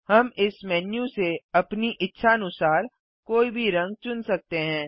हम इस मेन्यू से अपनी इच्छानुसार कोई भी रंग चुन सकते हैं